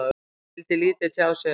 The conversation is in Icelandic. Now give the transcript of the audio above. Hann vildi lítið tjá sig um það.